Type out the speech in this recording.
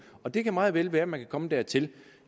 og det kan meget vel være at man kommer dertil